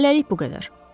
Hələlik bu qədər.